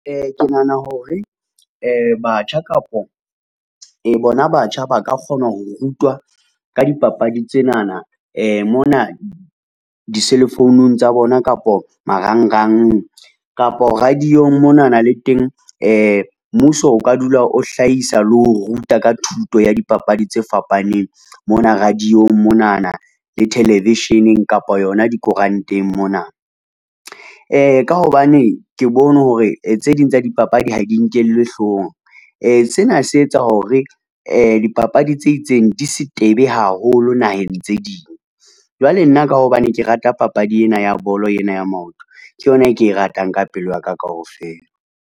Ke nahana hore batjha kapo, bona batjha ba ka kgona ho rutwa ka dipapadi tsenana mona di-cell phone tsa bona kapo marangrang. Kapo radio-ng monana le teng mmuso o ka dula o hlahisa le ho ruta ka thuto ya dipapadi tse fapaneng mona radio-ng monana le television-eng kapa yona dikoranteng mona. Ka hobane ke bone hore tse ding tsa dipapadi ha di nkellwe hloohong. Sena se etsa hore dipapadi tse itseng di se tebe haholo naheng tse ding. Jwale nna ka hobane ke rata papadi ena ya bolo yena ya maoto ke yona e ke e ratang ka pelo ya ka kaofela.